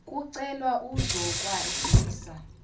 kucelwa uzokwa zisa